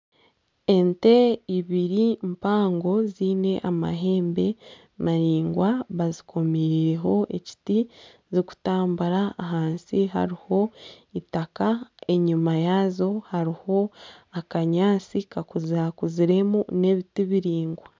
Ente ibiri mpango ziine amahe bazikoomiireho ekiti zikutambura ahansi hariho itaka enyima yaazo hariho akanyaatsi kakuzirekunziremu hariho n'ebiti biraingwa